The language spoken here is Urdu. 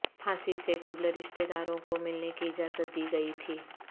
پھانسی سے قبل رشتے داروں کو ملنے کی اجازت دی گئی تھی